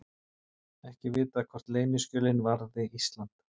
Ekki vitað hvort leyniskjölin varði Ísland